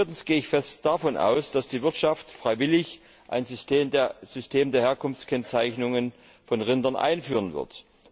Viertens gehe ich fest davon aus, dass die Wirtschaft freiwillig ein System der Herkunftskennzeichnung von Rindern einführen wird.